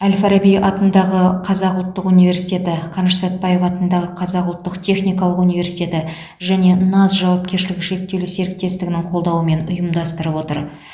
әл фараби атындағы қазақ ұлттық университеті қаныш сәтпаев атындағы қазақ ұлттық техникалық университеті және наз жауапкершілігі шектеулі серіктестігі қолдауымен ұйымдастырып отыр